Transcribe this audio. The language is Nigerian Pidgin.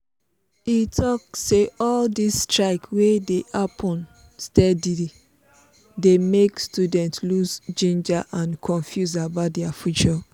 e talk say all these strike wey dey happen steady dey make students lose ginger and confuse about their future